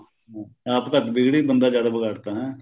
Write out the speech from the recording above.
ਹਮ ਆਪ ਘੱਟ ਵਿਗੜੀ ਬੰਦਾ ਜ਼ਿਆਦਾ ਵਿਗਾੜ ਤਾ ਨਾ